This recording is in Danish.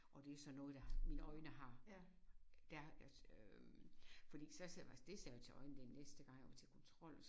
Og det er sådan noget der har mine øjne har der øh øh fordi så var det sagde jeg jo til øjenlægen næste gang jeg var til kontrol